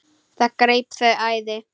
Það greip þau æði.